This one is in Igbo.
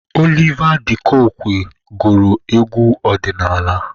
Oliva D kokwe gụrụ egwu ọdịnaala.